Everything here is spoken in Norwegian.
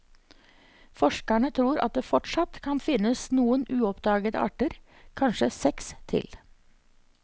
Forskerne tror at det fortsatt kan finnes noen uoppdagede arter, kanskje seks til.